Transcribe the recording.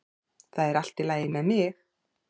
Það er allt í lagi með mig